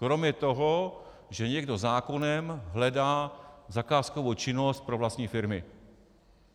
Kromě toho, že někdo zákonem hledá zakázkovou činnost pro vlastní firmy.